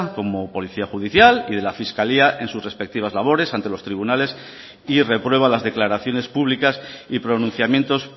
como policía judicial y de la fiscalía en sus respectivas labores ante los tribunales y reprueba las declaraciones públicas y pronunciamientos